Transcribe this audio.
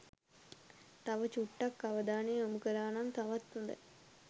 තව චුට්ටක් අවධානය යොමු කලා නම් තවත් හොඳයි